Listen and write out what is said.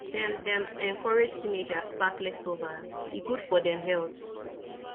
dem dem encourage teenagers pack leftover e good for dem health